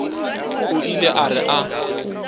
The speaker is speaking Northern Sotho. o ile a re a